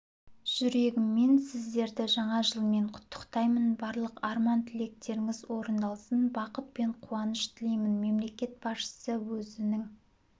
жүрегіммен сіздерді жаңа жылмен құттықтаймын барлық арман-тілектеріңіз орындалсын бақыт пен қуаныш тілеймін мемлекет басшысы өзінің